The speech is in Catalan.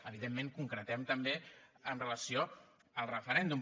evidentment ho concretem també amb relació al referèndum